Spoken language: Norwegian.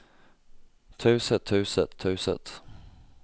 taushet taushet taushet